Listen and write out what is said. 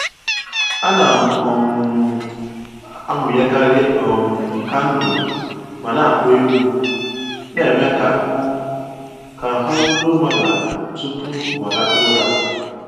Ana um m amụnyekarị um kandụl ma na akpọ egwu na-eme ka ahụ́ ka ahụ́ ruo mmadụ ala tupu mụ alakpuo ụra